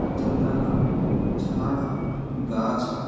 जंगल ह झाड़ ह गाछ ह।